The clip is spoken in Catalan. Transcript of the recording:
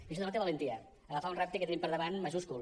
i això denota valentia agafar un repte que tenim per davant majúscul